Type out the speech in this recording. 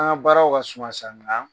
An baara ka suma sisan